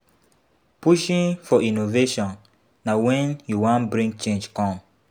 Pushing for innovation na when you wan bring change come